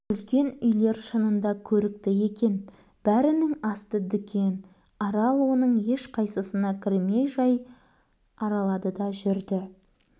үлкен үйлер шынында көрікті екен бәрінің асты дүкен арал оның ешқайсысына кірмей жай аралады да жүрді